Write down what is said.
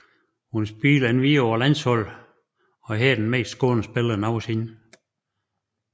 Hun spiller endvidere på landsholdet og er her den mest scorende spiller nogensinde